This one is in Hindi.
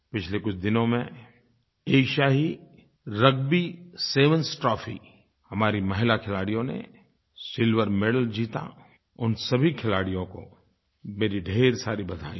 पिछले कुछ दिनों में एशियाई रग्बी सेवेंस ट्रॉफी हमारी महिला खिलाड़ियों ने सिल्वर मेडल जीता उन सभी खिलाड़ियों को मेरी ढेर सारी बधाइयाँ